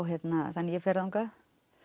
þannig að ég fer þangað